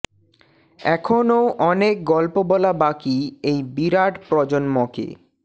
এখনও অনেক গল্প বলা বাকি এই বিরাট প্রজন্মকে